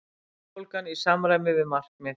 Verðbólgan í samræmi við markmið